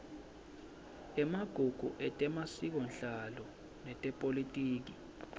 emagugu etemasikonhlalo netepolitiki